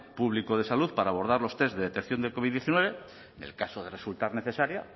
público de salud para abordar los test de detección de covid diecinueve en el caso de resultar necesaria